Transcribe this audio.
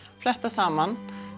fléttast saman